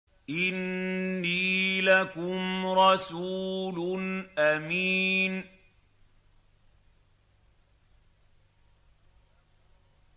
إِنِّي لَكُمْ رَسُولٌ أَمِينٌ